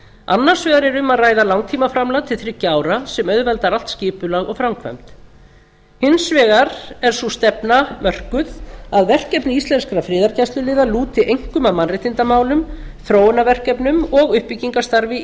annars vegar er um að ræða langtímaframlag til þriggja ára sem auðveldar allt skipulag og framkvæmd hins vegar er sú stefna mörkuð að verkefni íslenskra friðargæsluliða lúti einkum að mannréttindamálum þróunarverkefnum og uppbyggingarstarfi